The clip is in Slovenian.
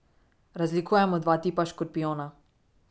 Razlikujemo dva tipa škorpijona.